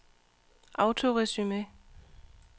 autoresume